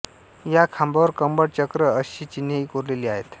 या खांबांवर कमळ चक्र अशी चिन्हेही कोरलेली आहेत